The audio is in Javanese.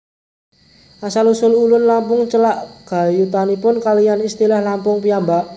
Asal usul Ulun Lampung celak gayutanipun kaliyan istilah Lampung piyambak